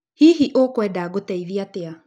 Hihi ũkwenda ngũteithie atĩa?